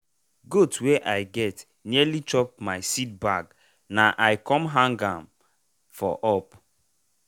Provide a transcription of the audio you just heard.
goat wey i get nearly chop my seed bag na i com hang ahm for up.